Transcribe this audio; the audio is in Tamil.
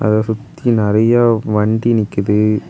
இத சுத்தி நெறைய வண்டி நிக்குது.